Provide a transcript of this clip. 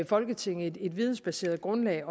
folketinget et vidensbaseret grundlag